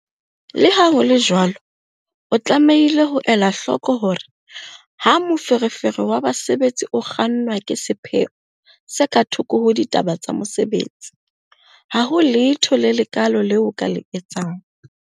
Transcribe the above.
Le ha ho le jwalo, o tlamehile ho ela hloko hore ha moferefere wa basebetsi o kgannwa ke sepheo se ka thoko ho ditaba tsa mosebetsi, ha ho letho le lekaalo leo o ka le etsang.